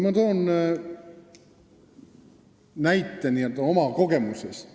Ma toon näite oma kogemusest.